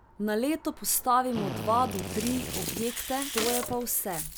Na leto postavimo dva do tri objekte, to je pa vse.